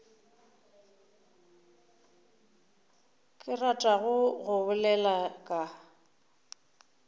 ke ratago go bolela ka